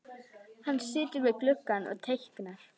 Hann situr við gluggann og teiknar.